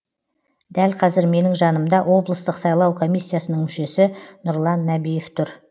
дәл қазір менің жанымда облыстық сайлау комиссиясының мүшесі нұрлан нәбиев тұр